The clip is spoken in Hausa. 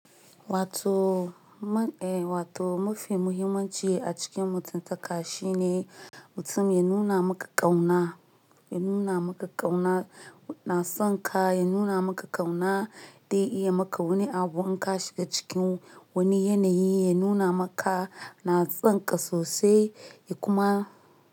Wato man, eh wato mafi muhimmanci a cikin mutunta ka shine mutum ya nuna maka ƙauna, ya nuna maka ƙauna na son ka, ya nuna maka ƙauna dai iya maka wani abu in ka shiga cikin wani yanayi ya nuna maka na son ka sosai, ya kuma.